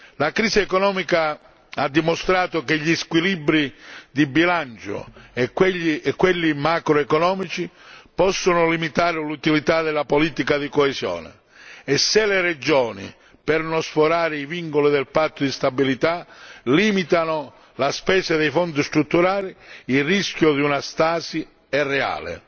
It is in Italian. La crisi economica ha dimostrato che gli squilibri di bilancio e quelli macroeconomici possono limitare l'utilità della politica di coesione e se le regioni, per non sforare i vincoli del Patto di stabilità, limitano la spesa dei Fondi strutturali, il rischio di una stasi è reale.